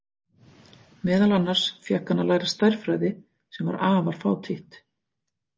Meðal annars fékk hann að læra stærðfræði sem var afar fátítt.